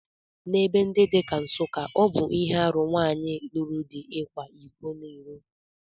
N'ebe ndi dị ka Nsukka, ọ bụ ihe aru nwanyị lụru di ịkwa iko n'iro